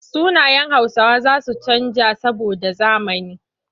Sunayen Hausawa za su canja saboda zamani.